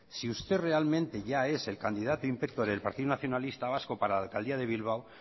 si usted realmente ya es el candidato del partido nacionalista vasco para la alcaldía de bilbao